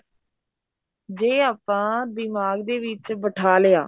ਜੇ ਆਪਾਂ ਦਿਮਾਗ ਦੇ ਵਿੱਚ ਬਿਠਾ ਲਿਆ